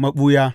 maɓuya.